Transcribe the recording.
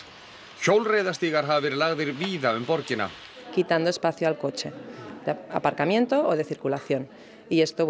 hjólreiðastígar hafa verið lagðir víða um borgina